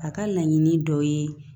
A ka laɲini dɔ ye